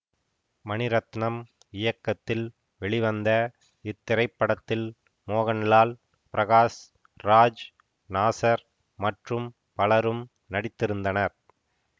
மணிரத்னம் இயக்கத்தில் வெளிவந்த இத்திரைப்படத்தில் மோகன்லால் பிரகாஷ் ராஜ் நாசர் மற்றும் பலரும் நடித்திருந்தனர்